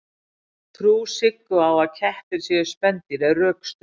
trú siggu á að kettir séu spendýr er rökstudd